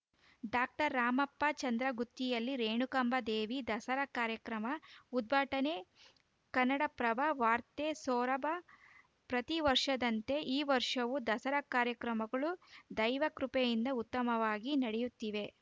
doctor Ramappa ಚಂದ್ರಗುತ್ತಿಯಲ್ಲಿ ರೇಣುಕಾಂಬದೇವಿ ದಸರಾ ಕಾರ್ಯಕ್ರಮ ಉದ್ಘಾಟನೆ ಕನ್ನಡಪ್ರಭ ವಾರ್ತೆ ಸೊರಬ ಪ್ರತಿ ವರ್ಷದಂತೆ ಈ ವರ್ಷವು ದಸರಾ ಕಾರ್ಯಕ್ರಮಗಳು ದೈವಕೃಪೆಯಿಂದ ಉತ್ತಮವಾಗಿ ನಡೆಯುತ್ತಿವೆ